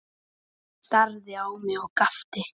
Hann starði á mig og gapti.